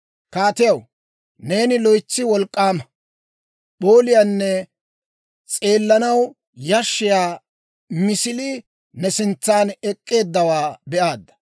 «Kaatiyaw, neeni loytsi wolk'k'aama, p'ooliyaanne s'eellanaw yashshiyaa misilii ne sintsan ek'k'eeddawaa be'aadda.